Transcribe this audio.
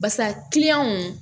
Basa